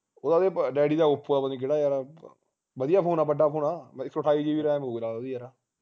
ਉਹ ਦਾ ਤੇ daddy ਦਾ oppo ਪਤਾ ਨਹੀਂ ਕਿਹੜਾ ਯਾਰ ਵਧੀਆ phone ਆ ਵੱਡਾ phone ਆ ਇਕ ਸੋ ਅਠਾਈ gram ਹੋਉਗੀ ਨਾਲ ਓਹਦੀ ਯਾਰ